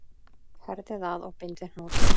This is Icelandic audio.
Herðið að og bindið hnút.